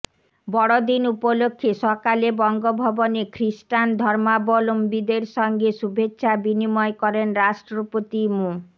বড় দিন উপলক্ষে সকালে বঙ্গভবনে খ্রিস্টান ধর্মাবলম্বীদের সঙ্গে শুভেচ্ছা বিনিময় করেন রাষ্ট্রপতি মো